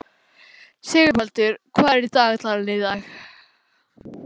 Sigurbaldur, hvað er í dagatalinu í dag?